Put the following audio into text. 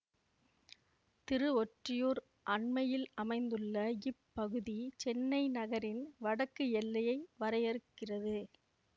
திருவொற்றியூர் அண்மையில் அமைந்துள்ள இப்பகுதி சென்னை நகரின் வடக்கு எல்லையை வரையறுக்கிறது